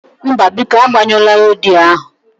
Mba, biko agbanyụla rediyo ahụ